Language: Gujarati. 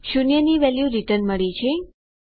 શૂન્યની વેલ્યુ રીટર્ન મળી છે